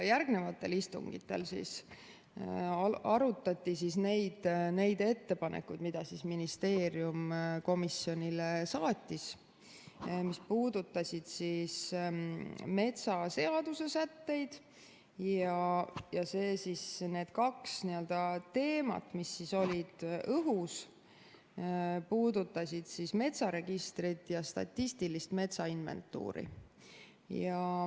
Järgnevatel istungitel arutati neid ettepanekuid, mida ministeerium komisjonile saatis ja mis puudutasid metsaseaduse sätteid, ja need kaks teemat, mis olid õhus, puudutasid metsaregistrit ja statistilist metsainventuuri.